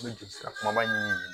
N bɛ joli sira kumaba ɲini